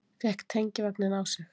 Fékk tengivagninn á sig